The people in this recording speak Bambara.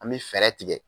An bɛ fɛɛrɛ tigɛ